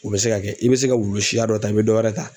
U bɛ se ka kɛ i bɛ se ka wulu siya dɔ ta i bɛ dɔ wɛrɛ ta.